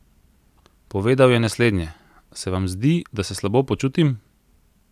Povedal je naslednje: "Se vam zdi, da se slabo počutim?